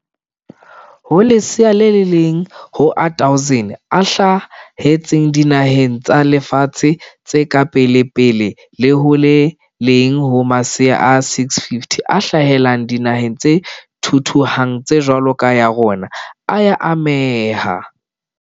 Ho lesea le leng ho a 1 000 a hla hetseng dinaheng tsa lefatshe tse ka pelepele le ho le leng ho masea a 650 a hlahela dinaheng tse thuthuhang tse jwalo ka ya rona, a ya ameha.